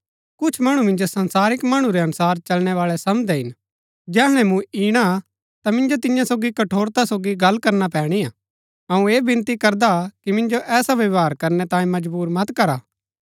कुछ मणु मिन्जो संसारिक मणु रै अनुसार चलनैवाळै समझदै हिन जैहणै मूँ इणा ता मिन्जो तियां सोगी कठोरता सोगी गल्ल करना पैणी हा अऊँ ऐह विनती करदा हा कि मिन्जो ऐसा व्यवहार करनै तांये मजबुर मत करा